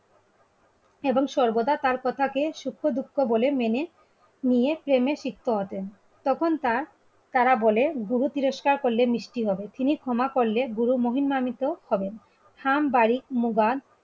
এবং সর্বদা তার কথাকে সুক্ষ দুঃখ বলে মেনে নিয়ে প্রেমে শিখতে হতো তখন তার তারা বলে গ্রহ তিরস্কার করলে মিষ্টি হবে তিনি ক্ষমা করলে গুরু মহিমামিত হবেন থাম, বারিক, মুবাদ,